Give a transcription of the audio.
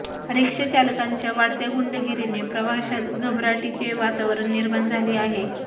रिक्षा चालकांच्या वाढत्या गुंडगिरीने प्रवाशांत घबराटीचे वतावरण निर्माण झाले आहे